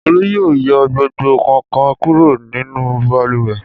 Olú yóò yọ gbogbo kàǹkàn kúrò nínú balùwẹ̀.